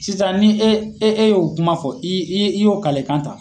Sisan ni e e e ye o kuma fɔ i i i y'o kalekan ta.